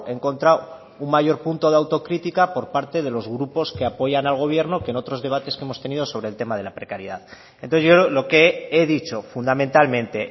he encontrado un mayor punto de autocrítica por parte de los grupos que apoyan al gobierno que en otros debates que hemos tenido sobre el tema de la precariedad entonces yo lo que he dicho fundamentalmente